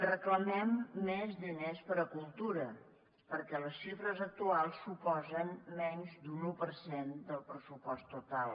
reclamem més diners per a cultura perquè les xifres actuals suposen menys d’un un per cent del pressupost total